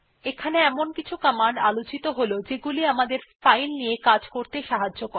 এখানে কিছু কমান্ড আলোচিত হল যেগুলি আমাদের ফাইল নিয়ে কাজ করতে সাহায্য করে